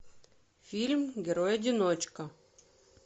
фильм герой одиночка